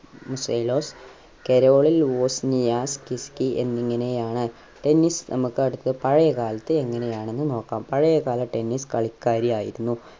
കെറോളിൽ കിസ്ക്കി എന്നിങ്ങനെയാണ് tennis നമ്മക്ക് അടുത്ത പഴയ കാലത്ത് എങ്ങനെ ആണെന്ന് നോകാം പഴയ കാല tennis കളിക്കാരി ആയിരുന്നു